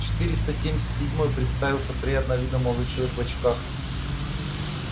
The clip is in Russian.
четыреста семьдесят седьмой представился приятного вида молодой человек в очках